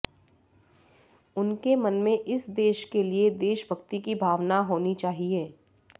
उनके मन में इस देश के लिए देशभक्ति की भावना होना चाहिए